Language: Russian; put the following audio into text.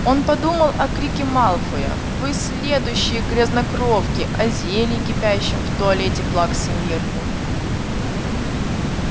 он подумал о крике малфоя вы следующие грязнокровки о зелье кипящем в туалете плаксы миртл